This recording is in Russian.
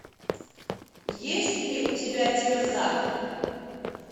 есть ли у тебя терза